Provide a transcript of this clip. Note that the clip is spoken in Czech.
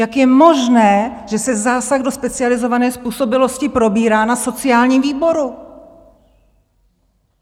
Jak je možné, že se zásah do specializované způsobilosti probírá na sociálním výboru?